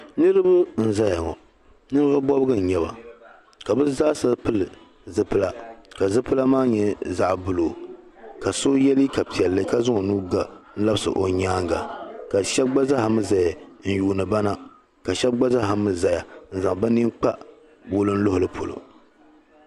Niriba n zaya ŋɔ nin vuɣu bɔbigu n-nyɛ ba ka bɛ zaa sa pili zipila ka zipila maa nyɛ zaɣa buluu ka so ye liga piɛlli ka zaŋ o nuu ga labisi o nyaaŋa ka shɛb gba zaa mii zaya n yuuni ba na ka shɛb gba zaa mii zaya n zaŋ bi nin kpa wulinluhili polo